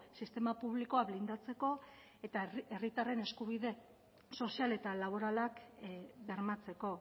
sistema publikoa blindatzeko eta herritarren eskubide sozial eta laboralak bermatzeko